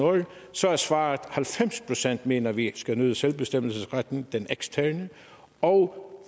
så var svaret at halvfems procent mener at vi skal nyde selvbestemmelsesretten den eksterne og